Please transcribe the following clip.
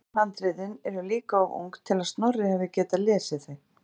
En sjálf handritin eru líka of ung til að Snorri hafi getað lesið þau.